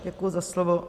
Děkuji za slovo.